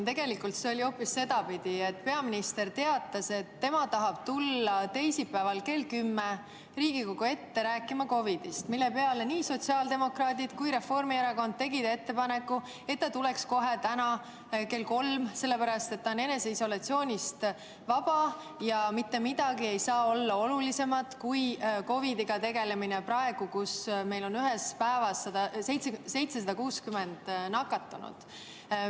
Tegelikult oli hoopis sedapidi, et peaminister teatas, et tema tahab tulla teisipäeval kell 10 Riigikogu ette rääkima COVID‑ist, mille peale nii sotsiaaldemokraadid kui ka Reformierakond tegid ettepaneku, et ta tuleks kohe täna kell kolm, sest ta on eneseisolatsioonist vaba ja mitte midagi ei saa olla olulisemat kui COVID‑iga tegelemine praegu, kui meil on ühel päeval 760 nakatunut.